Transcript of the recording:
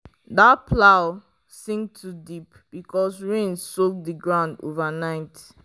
the plow sink too deep because rain soak the ground overnight.